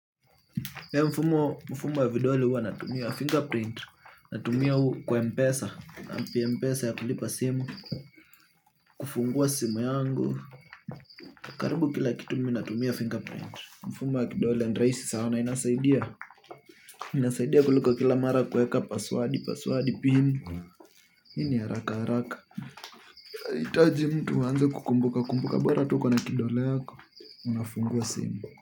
Mfumo mfumo wa vidole huwa natumia fingerprint. Natumia kwa mpesa app ya mpesa ya kulipa simu. Kufungua simu yangu. Karibu kila kitu mi natumia fingerprint. Mfumo ya kidole and rahisi sana inasaidia inasaidia kuliko kila mara kuweka paswadi, paswadi pin. Hii ni haraka haraka inahitaji mtu aanze kukumbuka kumbuka bora tu uko na kidole yako. Unafungua simu.